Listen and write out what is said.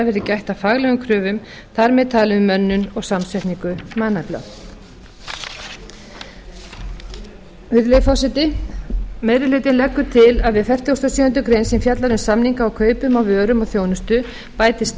verði gætt að faglegum kröfum þar með talin um mönnun og samsetningu mannafla virðulegi forseti meiri hlutinn leggur til að við fertugasta og sjöundu greinar sem fjallar um samninga á kaupum á vörum og þjónustu bætist